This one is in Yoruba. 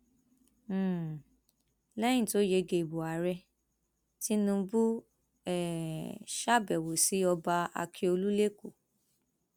um lẹyìn tó yege ìbò ààrẹ tinubu um ṣàbẹwò sí ọba ákíọlù lẹkọọ